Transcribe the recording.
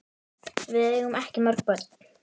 Við eigum ekki mörg börn.